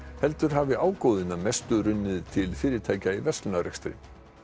heldur hafi ágóðinn að mestu runnið til fyrirtækja í verslunarrekstri